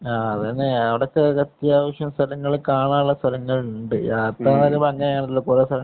ആ അത് തന്നെ. അവിടെ തന്നെ അത്യാവശ്യം സ്ഥലങ്ങള്‍ കാണാനുള്ള സ്ഥലങ്ങള്‍ ഉണ്ട്. അത്രെയേറെ ഭംഗിയുള്ള കുറേ സ്ഥലങ്ങള്‍